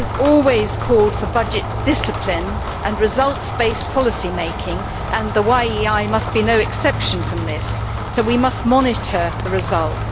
Group has always called for budget discipline and results based policymaking and the YEI must be no exception to this, so we must monitor the results.